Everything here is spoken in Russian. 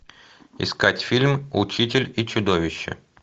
искать фильм учитель и чудовище